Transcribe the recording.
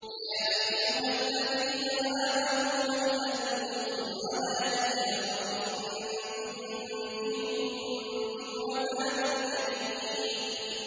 يَا أَيُّهَا الَّذِينَ آمَنُوا هَلْ أَدُلُّكُمْ عَلَىٰ تِجَارَةٍ تُنجِيكُم مِّنْ عَذَابٍ أَلِيمٍ